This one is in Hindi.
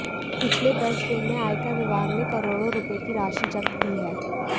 पिछले दस दिन में आयकर विभाग ने करोड़ो रुपए की राशि जब्त की है